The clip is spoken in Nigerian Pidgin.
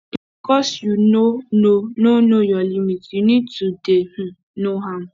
na because you no know no know your limit you need to dey um know am